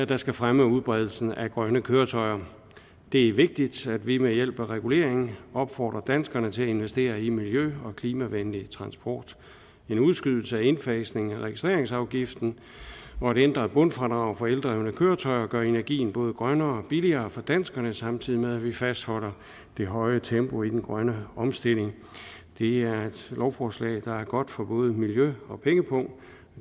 der skal fremme udbredelsen af grønne køretøjer det er vigtigt at vi ved hjælp af regulering opfordrer danskerne til at investere i miljø og klimavenlig transport en udskydelse af indfasningen af registreringsafgiften og et ændret bundfradrag for eldrevne køretøjer gør energien både grønnere og billigere for danskerne samtidig med at vi fastholder det høje tempo i den grønne omstilling det er et lovforslag der er godt for både miljø og pengepung og